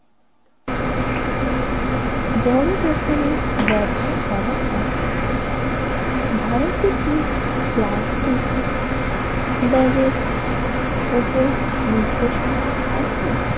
বড় দোকানে ব্যবহার করা হয় ভারতে কি প্লাস্টিক ব্যাগের ওপর নির্দেশনা আছে?